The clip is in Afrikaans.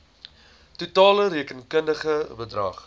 totale rekenkundige bedrag